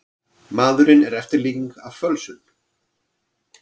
Maðurinn er eftirlíking af fölsun.